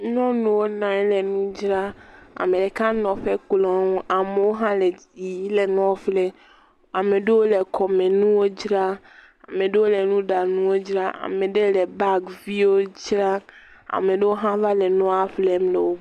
Nyɔnuwo nɔ anyi le nu dzram. Ame ɖeka nɔ eƒe klo nu, amewo hã le yiyim le nua ƒlem. Ame aɖewo le kɔmenuwo dzram, ame aɖewo le nuɖanuwo dzram, ame aɖe le bagi viwo dzram. Ame aɖewo hã va le nua ƒlem le wo …